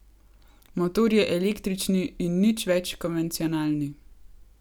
Motor je električni in nič več konvencionalni.